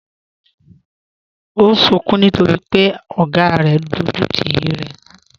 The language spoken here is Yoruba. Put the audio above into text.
Ọ̀ n sùǹkún nítorí pẹ̀ ogá rẹ̀ n dọjútì rẹ̀ lánà